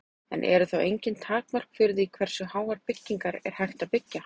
En eru þá engin takmörk fyrir því hversu háar byggingar er hægt að byggja?